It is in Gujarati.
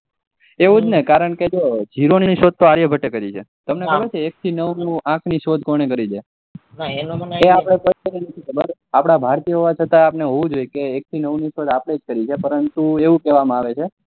એવું જ ને કારણકે જીરો ની શોધ આર્યભટ્ટ એ કરી છે તમને ખબર છે એક થી નવ ના અંક ની શોધ કોને કરી છે અપડા ભારતીએ હોવા છતા હોવું જોઈએ કે એક થી નવ ની શોધ આપડે જ કરીએ છે પરંતુ આવું કેવા આવે છે